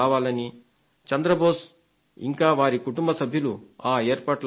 శ్రీ చంద్రబోస్ ఇంకా వారి కుటుంబ సభ్యులు ఆ ఏర్పాట్లలో ఉన్నారు